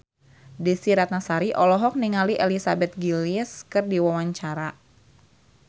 Desy Ratnasari olohok ningali Elizabeth Gillies keur diwawancara